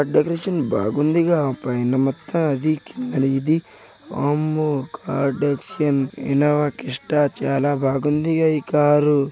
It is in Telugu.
డెకరేషన్ బాగుంది గా పైన మొత్తం అది కింద ఇది వామ్మో ఇన్నోవా క్రిష్ట చాలా బాగుంది గా కార్ .